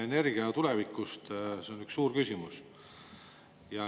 Energia tulevik on üks suur küsimus.